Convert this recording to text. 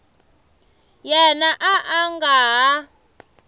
yena a a nga ha